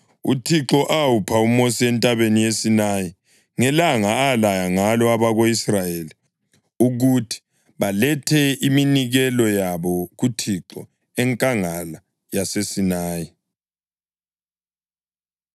uThixo awupha uMosi entabeni yeSinayi ngelanga alaya ngalo abako-Israyeli ukuthi balethe iminikelo yabo kuThixo, enkangala yaseSinayi.